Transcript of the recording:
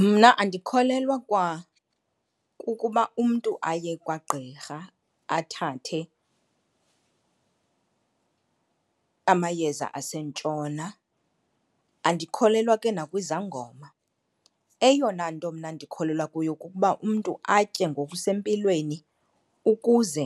Mna andikholelwa kwa kukuba umntu aye kwagqirha athathe amayeza asentshona, andikholelwa ke nakwizangoma. Eyona nto mna ndikholelwa kuyo kukuba umntu atye ngokusempilweni ukuze